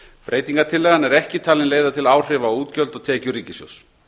breytingartillagan er ekki talin leiða til áhrifa á útgjöld og tekjur ríkissjóðs